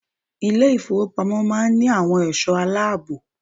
Ilé ìfowópamọ́ máa ń ní àwọn ẹ̀sọ́ aláàbò.